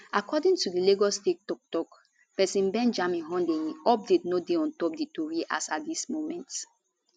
according to di lagos state toktok pesin benjamin hundeyin update no dey ontop di tori as at dis moment